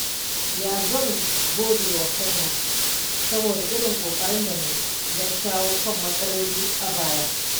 Yau zan gode wa kaina saboda irin ƙoƙarin da na yi don shawo kan matsaloli a baya.